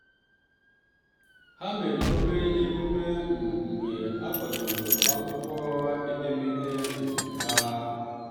ha mere obere emume um mgbe a kwadoro akwụkwọ edemede um ha.